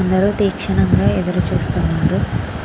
అందరు దిక్షణంగా ఎదురు చూస్తున్నారు.